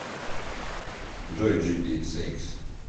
джой джипи сэйкс